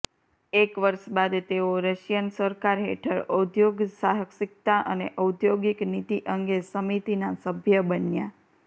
એક વર્ષ બાદ તેઓ રશિયન સરકાર હેઠળ ઉદ્યોગસાહસિકતા અને ઔદ્યોગિક નીતિ અંગે સમિતિના સભ્ય બન્યા